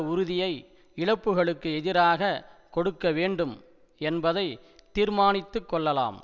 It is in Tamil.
உறுதியை இழப்புக்களுக்கு எதிராக கொடுக்க வேண்டும் என்பதை தீர்மானித்து கொள்ளலாம்